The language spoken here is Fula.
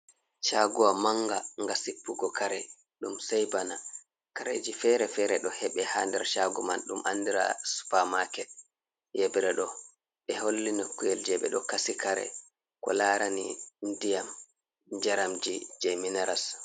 Caagowa mannga, nga sippugo kare, ɗum sey bana kareeji fere-fere ɗo heɓe haa nder caago man .Ɗum anndira supamaket .Yebre ɗo ɓe holli nokkuyel jey ɓe ɗo kasi kare ko laarani ndiyam njaramji jey minaras.